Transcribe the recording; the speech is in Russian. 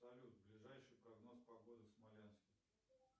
салют ближайший прогноз погоды в смоленске